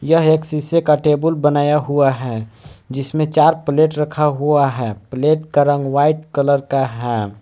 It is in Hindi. यह एक शीशे का टेबुल बनाया हुआ है जिसमें चार प्लेट रखा हुआ है प्लेट का रंग व्हाइट कलर का है।